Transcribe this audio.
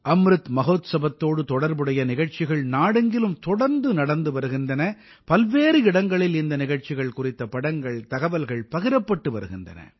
அம்ருத் மஹோத்சவத்தோடு தொடர்புடைய நிகழ்ச்சிகள் நாடெங்கிலும் தொடர்ந்து நடந்து வருகின்றன பல்வேறு இடங்களில் இந்த நிகழ்ச்சிகள் குறித்த படங்கள் தகவல்கள் பகிரப்பட்டு வருகின்றன